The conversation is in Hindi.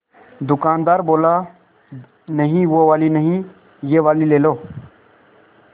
दुकानदार बोला नहीं वो वाली नहीं ये वाली ले लो